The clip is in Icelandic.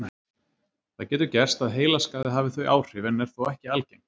Það getur gerst að heilaskaði hafi þau áhrif en er þó ekki algengt.